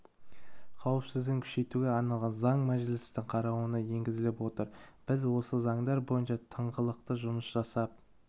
қауіпсіздігін күшейтуге арналған заң мәжілістің қарауына енгізіліп отыр біз осы заңдар бойынша тыңғылықты жұмыс жасап